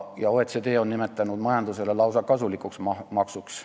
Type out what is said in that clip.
OECD on nimetanud seda majandusele lausa kasulikuks maksuks.